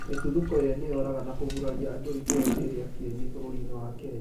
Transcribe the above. mĩtuthũko ĩrĩ nĩyoraga na kũguraria andũ itũraini ria kĩeni bũrũrinĩ wa Kenya